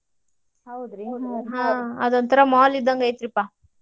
ಹೌದ್ರಿ ಹ ಅದೋಂತರಾ mall ಇದಂಗ್ ಐತಿ ರೀ ಪಾ.